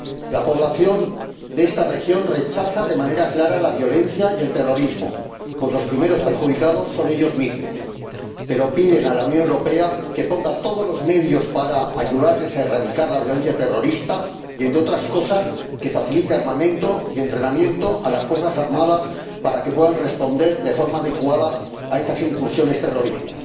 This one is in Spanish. La población de esta región rechaza de manera clara la violencia y el terrorismo, pues los primeros perjudicados son ellos mismos, pero piden a la Unión Europea que ponga todos los medios para ayudarles a erradicar la violencia terrorista y, entre otras cosas, que facilite armamento y entrenamiento a las fuerzas armadas para que puedan responder de forma adecuada a estas incursiones terroristas.